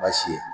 Baasi ye